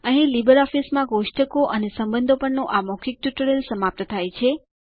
અહીં લીબરઓફીસમાં કોષ્ટકો અને સંબંધો પરનું આ ટ્યુટોરીયલ સમાપ્ત થાય છે